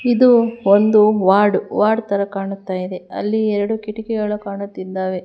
ಇದು ಒಂದು ward ward ತರ ಕಾಣ್ತಾ ಇದೆ ಅಲ್ಲಿ ಎರಡು ಕಿಟಕಿಗಳು ಕಾಣುತ್ತಿದ್ದಾವೆ.